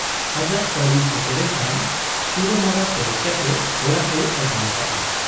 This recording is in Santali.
ᱟᱡᱟᱜ ᱯᱟᱹᱲᱤ ᱥᱮᱴᱮᱨᱮᱱ ᱠᱷᱟᱱ ᱪᱩᱨᱟᱹᱢᱟᱨᱟ ᱯᱮᱨᱮᱡ ᱠᱟᱛᱮ ᱚᱲᱟᱜ ᱮ ᱟᱹᱜᱩ ᱟᱠᱟᱜ ᱟ ᱾